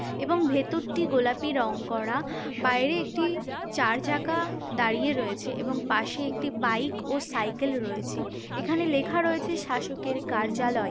এবং ভেতরটি গোলাপি রং করা। বাইরে একটি চার চাকা দাঁড়িয়ে রয়েছে এবং পাশে একটি বাইক ও সাইকেল রয়েছে। এখানে লেখা রয়েছে শাসকের কার্যালয়।